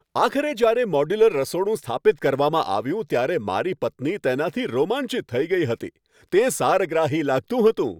આખરે જ્યારે મોડ્યુલર રસોડું સ્થાપિત કરવામાં આવ્યું ત્યારે મારી પત્ની તેનાથી રોમાંચિત થઈ ગઈ હતી. તે સારગ્રાહી લાગતું હતું!